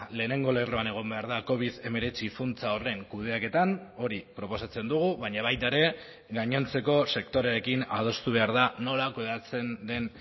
lehenengo lerroan egon behar da covid hemeretzi funtsa horren kudeaketan hori proposatzen dugu baina baita ere gainontzeko sektoreekin adostu behar da nola kudeatzen den